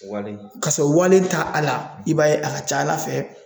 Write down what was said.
Wale, ka sɔrɔ wale ta a la i b'a ye a ka ca Ala fɛ